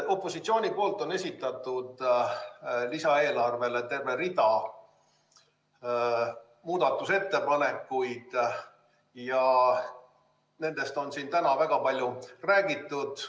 Opositsioon on esitanud lisaeelarve kohta terve rea muudatusettepanekuid ja nendest on siin täna väga palju räägitud.